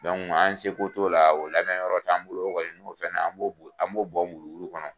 an seko t'o la o lamarayɔrɔ t'an bolo kɔni n'o fɛnna na an b'o bɔn wuluwulu kɔnɔ